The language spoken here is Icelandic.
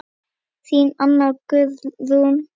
Þín Anna Guðrún.